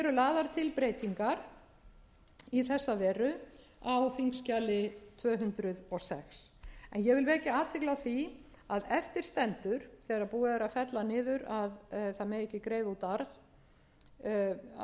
eru lagðar til breytingar í þessa veru á þingskjali tvö hundruð og sex en ég vil vekja athygli á því að eftir stendur þegar búið er að fella niður að það megi ekki greiða út arð það er búið að fella niður